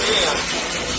Dayanın, dayan, dayan.